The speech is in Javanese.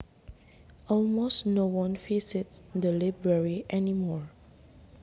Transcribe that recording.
Almost no one visits the library anymore